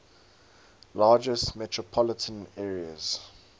largest metropolitan areas